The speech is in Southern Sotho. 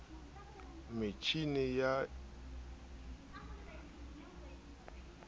metjhini ya othomatiki e sa